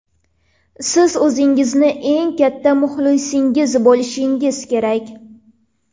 Siz o‘zingizning eng katta muxlisingiz bo‘lishingiz kerak.